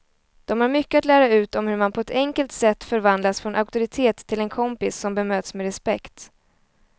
De har mycket att lära ut om hur man på ett enkelt sätt förvandlas från auktoritet till en kompis som bemöts med respekt.